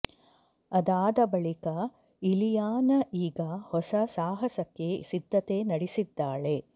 ಅದಾದ ಬಳಿಕ ಇಲಿಯಾನ ಈಗ ಹೊಸ ಸಾಹಸಕ್ಕೆ ಸಿದ್ಧತೆ ನಡೆಸಿದ್ದಾಳೆ